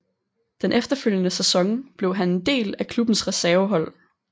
Den efterfølgende sæson blev han en del af klubbens reservehold